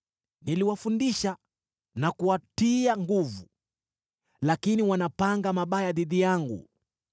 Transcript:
Niliwafundisha na kuwatia nguvu, lakini wanapanga mabaya dhidi yangu.